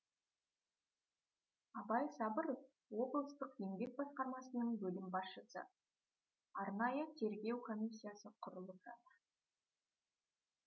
абай сабыров облыстық еңбек басқармасының бөлім басшысы арнайы тергеу комиссиясы құрылып жатыр